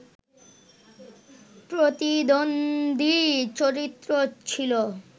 প্রতিদ্বন্দী চরিত্র ছিল